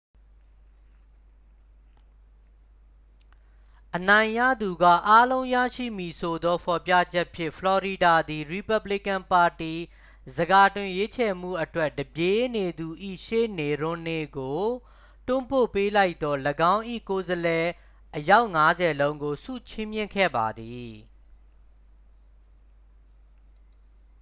အနိုင်ရသူကအားလုံးရရှိမည်ဆိုသောဖော်ပြချက်ဖြင့် ဖလော်ရီဒါသည် ရီပက်ဘလီကန်ပါတီ ဆန်ခါတင်ရွေးချယ်မှုအတွက် တစ်ပြေးနေသူ၏ရှေ့သို့ ရွမ်နေကို တွန်းပို့ပေးလိုက်သော ၎င်း၏ကိုယ်စားလှယ်အယောက်ငါးဆယ်လုံးကို ဆုချီးမြှင့်ခဲ့ပါသည်